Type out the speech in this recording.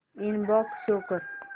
inbox show कर